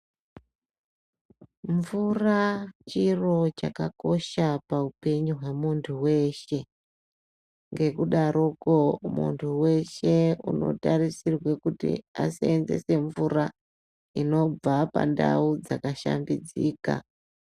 Mvura chiro chakakosha paupenyu hwamuntu weshe ngekudaroko muntu weshe unotarisirwe kuti aseenzese mvura inobva pandau dzakashambidzika.